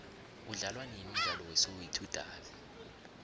udlalwanini umdlalo we soweto davi